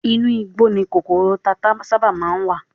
Inú igbó ni kòkòrò tata sábà má ń wà